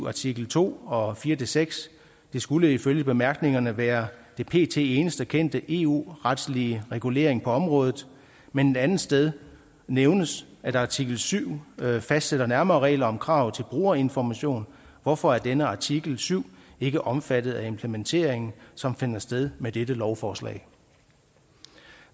artikel to og fire seks det skulle ifølge bemærkningerne være den pt eneste kendte eu retslige regulering på området men et andet sted nævnes at artikel syv fastsætter nærmere regler om kravet til brugerinformation hvorfor er denne artikel syv ikke omfattet af implementeringen som finder sted med dette lovforslag